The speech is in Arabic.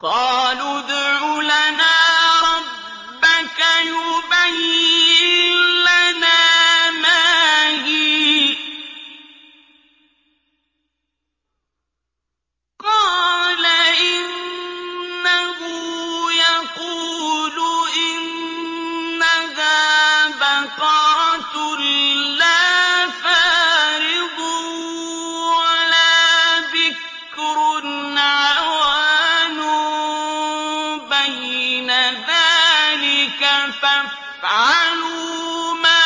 قَالُوا ادْعُ لَنَا رَبَّكَ يُبَيِّن لَّنَا مَا هِيَ ۚ قَالَ إِنَّهُ يَقُولُ إِنَّهَا بَقَرَةٌ لَّا فَارِضٌ وَلَا بِكْرٌ عَوَانٌ بَيْنَ ذَٰلِكَ ۖ فَافْعَلُوا مَا